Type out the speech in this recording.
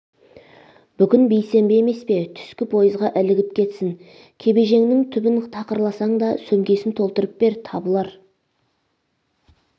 бүгін бейсенбі емес пе түскі поезға ілігіп кетсін кебежеңнң түбін тақырласаң да сөмкесін толтырып бер табылар